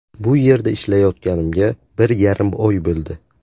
Bu yerda ishlayotganimga bir yarim oy bo‘ldi.